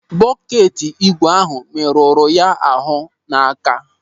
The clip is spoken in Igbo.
Bọket ígwè ahụ merụrụ ya ahụ n'aka.